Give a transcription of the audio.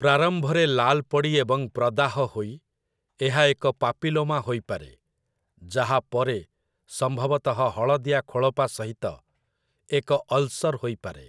ପ୍ରାରମ୍ଭରେ ଲାଲ୍ ପଡ଼ି ଏବଂ ପ୍ରଦାହ ହୋଇ, ଏହା ଏକ ପାପିଲୋମା ହୋଇପାରେ, ଯାହା ପରେ ସମ୍ଭବତଃ ହଳଦିଆ ଖୋଳପା ସହିତ ଏକ ଅଲ୍‌ସର୍‌ ହୋଇପାରେ ।